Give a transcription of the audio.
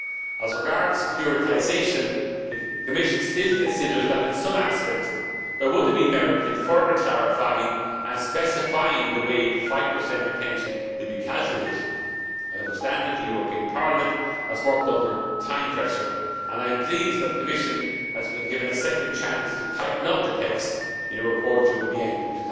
As regards securitisation, the Commission still considers that in some aspects there would have been merit in further clarifying and specifying the way the 5 retention will be calculated. I understand that the European Parliament has worked under time pressure and I am pleased that the Commission has been given a second chance to tighten up the text in a report due by the end